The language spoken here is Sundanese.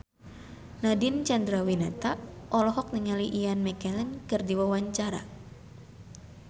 Nadine Chandrawinata olohok ningali Ian McKellen keur diwawancara